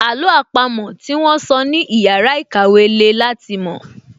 Àló àpamọ́ tí wón sọ ní ìyára ìkàwẹ́ le láti mọ̀